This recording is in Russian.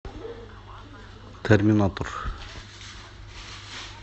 терминатор